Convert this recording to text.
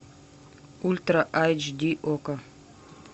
ультра айч ди окко